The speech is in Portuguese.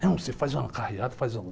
Não, você faz uma carreata, faz algum...